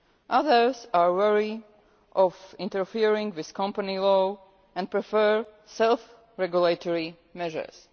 Others are wary of interfering with company law and prefer self regulatory measures.